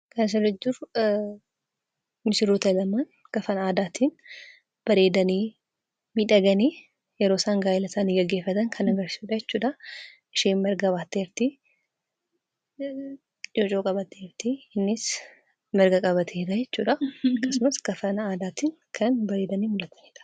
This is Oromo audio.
Suuraa kana irratti kan mul'atu misirroota lamaan uffatan aadaan miidhaganii kan jiranii dha. Innis yeroo isaan gaa'eela isaanii gaggeefataa jiran kan agarsiisuu dha. Innis, isheenis marga qabatanii kan jiranii dha.